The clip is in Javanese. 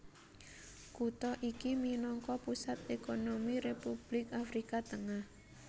Kutha iki minangka pusat ékonomi Republik Afrika Tengah